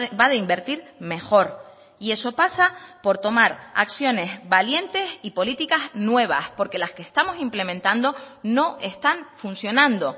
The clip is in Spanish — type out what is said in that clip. va de invertir mejor y eso pasa por tomar acciones valientes y políticas nuevas porque las que estamos implementando no están funcionando